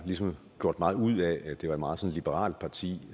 ligesom gjort meget ud af at det var et meget liberalt parti